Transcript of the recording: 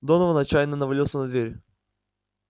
донован отчаянно навалился на дверь